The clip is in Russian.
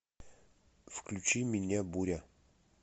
включи меня буря